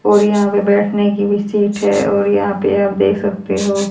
और यहां पे बैठने की भी सीट है और यहां पे आप देख सकते हो--